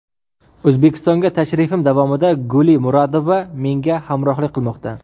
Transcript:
O‘zbekistonga tashrifim davomida Guli Muradova menga hamrohlik qilmoqda.